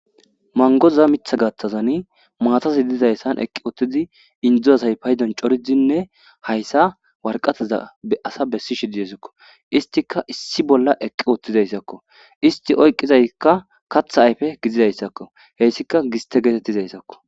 mangoza mitha gaththazani maatazi idizayssan eqqi uttidi indzu asay paydon coridinne hayssa warqateza be asa bessi shididesikko istika issi bolla eqqi uottizayssakko isti oyqqizaykka katha ayfe gidizayssakko heyssika giste geetettizayssakko